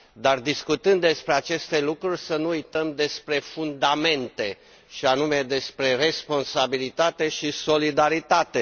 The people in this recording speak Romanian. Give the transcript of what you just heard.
Dar, discutând despre aceste lucruri, să nu uităm de fundamente, și anume de responsabilitate și solidaritate.